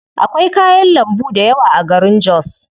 Akwai kayan lambu dayawa a garin jos.